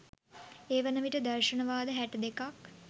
ඒ වන විට දර්ශන වාද හැට දෙකක්